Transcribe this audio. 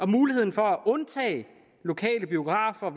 muligheden for at undtage lokale biografer